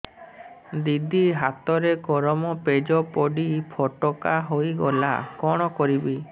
ଦିଦି ହାତରେ ଗରମ ପେଜ ପଡି ଫୋଟକା ହୋଇଗଲା କଣ କରିବି